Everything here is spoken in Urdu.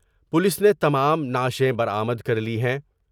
پولیس نے تمام نعشیں برآمد کر لی ہیں ۔